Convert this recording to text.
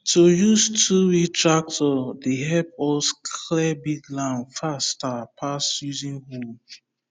to use twowheel tractor dey help us clear big land faster pass using hoe